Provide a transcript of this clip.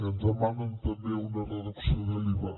ens demanen també una reducció de l’iva